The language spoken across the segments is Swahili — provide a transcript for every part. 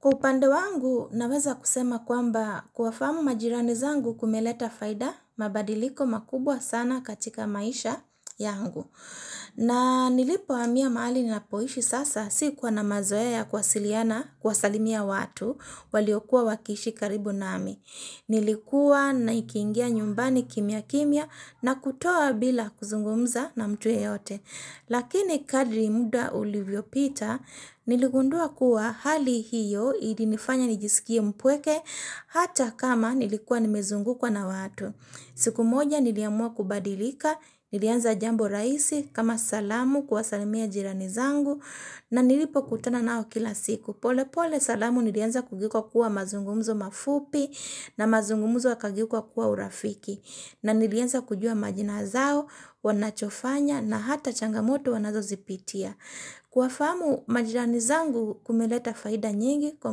Kwa upande wangu naweza kusema kwamba kuwafamu majirani zangu kumeleta faida mabadiliko makubwa sana katika maisha yangu. Na nilipo hamia mahali ninapoishi sasa sikuwa na mazoea ya kuwasalimia watu waliokuwa wakishi karibu nami. Nilikuwa naingia nyumbani kimia kimia na kutoka bila kuzungumza na mtu yeyote. Lakini kadri muda ulivyo pita niligundua kuwa hali hiyo ilinifanya nijisikie mpweke hata kama nilikua nimezungukwa na watu. Siku moja niliamua kubadilika, nilianza jambo rahisi kama salamu kuwasalimia jirani zangu na nilipo kutana nao kila siku. Pole pole salamu nilianza kugeuka kuwa mazungumuzo mafupi na mazungumuzo yakageuka kuwa urafiki na nilieza kujua majina zao wanachofanya na hata changamoto wanazo zipitia. Kuwafamu majirani zangu kumeleta faida nyingi kwa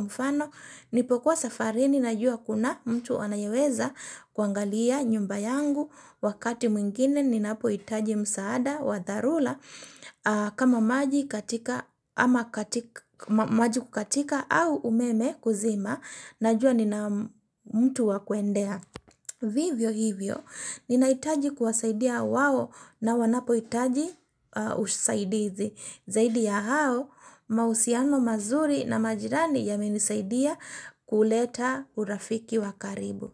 mfano nilipokuwa safari ninajua kuna mtu anayeweza kuangalia nyumba yangu wakati mwingine ninapo itaji msaada wa tharura kama maji kukatika au umeme kuzima najua nina mtu wa kwendea. Vivyo hivyo, ninaitaji kuwasaidia wao na wanapo hitaji usaidizi. Zaidi ya hao, mausiano mazuri na majirani yamenisaidia kuleta urafiki wa karibu.